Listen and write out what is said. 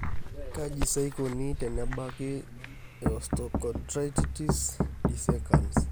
Kaji sa eikoni tenebaki eosteochondritis dissecans?